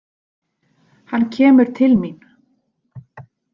Hann kemur til mín.